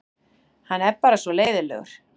Hann er bara svona leiðinlegur.